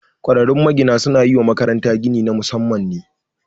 Ƙwararrun magina su na yi wa makaranta gini na Musamman ne